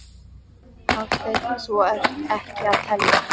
Hafsteinn: Þú ert ekki að telja?